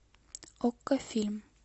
окко фильм